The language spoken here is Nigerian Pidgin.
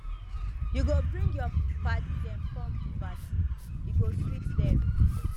you go bring your paddy dem come di party e go sweet dem